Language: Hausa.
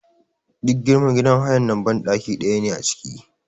Duk girman gidan hayar nan banɗaki ɗaya ne a ciki.